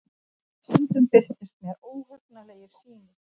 Stundum birtust mér óhugnanlegar sýnir.